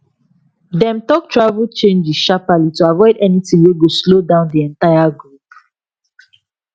dem talk travel changes sharpaly to avoid anything wey go slow down the entire group